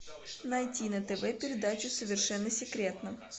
найти на тв передачу совершенно секретно